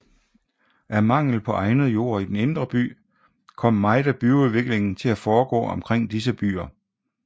Af mangel på egnet jord i den indre by kom meget af byudviklingen til at foregå omkring disse byer